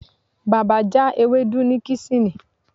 Baba ja ewdu ni kesini